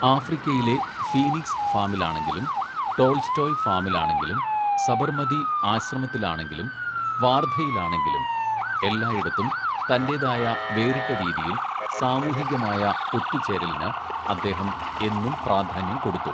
"ആഫ്രിക്കയിലെ ഫീനിക്‌സ് ഫാമിലാണെങ്കിലും ടോള്‍സ്റ്റോയ് ഫാമിലാണെങ്കിലും, സബര്‍മതി ആശ്രമത്തിലാണെങ്കിലും വാര്‍ധയിലാണെങ്കിലും എല്ലായിടത്തും തന്റേതായ വേറിട്ട രീതിയില്‍ സാമൂഹികമായ ഒത്തുചേരലിന് അദ്ദേഹം എന്നും പ്രാധാന്യം കൊടുത്തു. "